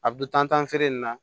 A bɛ dun tan feere in na